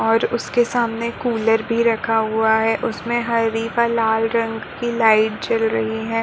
और उसके सामने कूलर भी रखा हुआ है। उसमे हरी व लाल रंग की लाइट जल रही है।